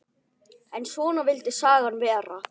En svona vildi sagan vera